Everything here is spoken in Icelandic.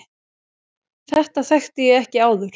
Þetta þekkti ég ekki áður.